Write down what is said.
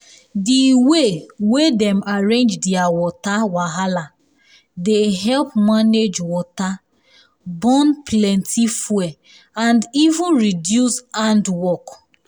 di way wey dem arrange their water wahala dey help manage water burn plenty fuel and even reduce hand work